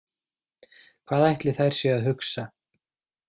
Hvað ætli þær séu að hugsa?